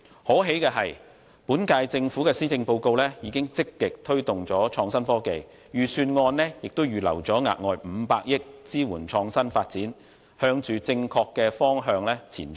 可喜的是，本屆政府的施政報告已經積極推動創新科技，預算案亦預留額外500億元支援創新發展，向正確的方向前進。